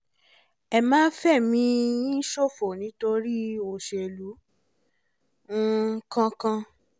ẹ má fẹ̀mí yín ṣòfò nítorí olóṣèlú um kankan